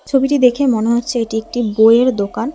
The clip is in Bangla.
ছবিটি দেখে মনে হচ্ছে এটি একটি বইয়ের দোকান।